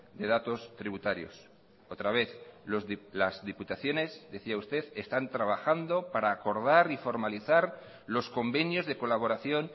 de datos tributarios otra vez las diputaciones decía usted están trabajando para acordar y formalizar los convenios de colaboración